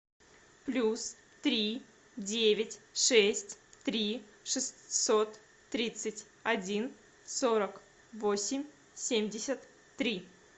плюс три девять шесть три шестьсот тридцать один сорок восемь семьдесят три